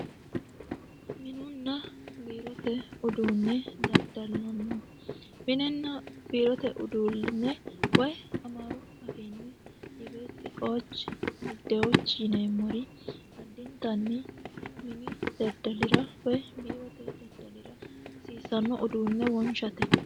Minenna biirote uduunne miniranna woyi biirote hasiissano uduunne wonshate yaate.